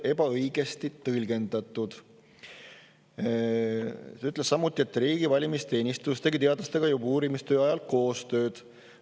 ütles, et riigi valimisteenistus tegi teadlastega juba uurimistöö ajal koostööd.